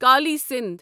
Kali Sindh